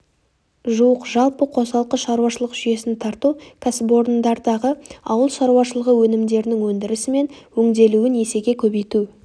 жуық жалпы қосалқы шаруашылық жүйесін тарту кәсіпорындардағы ауыл шаруашылығы өнімдерінің өндірісі мен өңделуін есеге көбейту